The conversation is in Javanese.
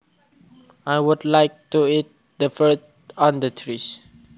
I would like to eat the fruit on the trees